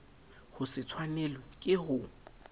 ho se tshwanelwe ke ho